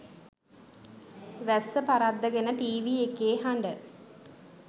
වැස්ස පරද්දගෙන ටීවි එකේ හඬ